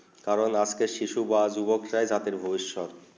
কারণ আজকে শিশু বা জীবক আঁকে ভভিস